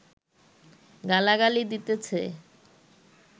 গালাগালি দিতেছে